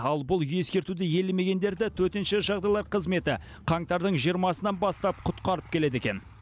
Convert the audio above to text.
ал бұл ескертуді елемегендерді төтенше жағдайлар қызметі қаңтардың жиырмасынан бастап құтқарып келеді екен